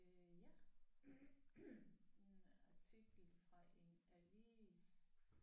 Øh ja en artikel fra en avis